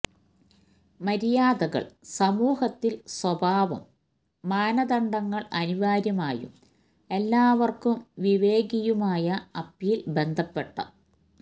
മര്യാദകൾ സമൂഹത്തിൽ സ്വഭാവം മാനദണ്ഡങ്ങൾ അനിവാര്യമായും എല്ലാവർക്കും വിവേകിയുമായ അപ്പീൽ ബന്ധപ്പെട്ട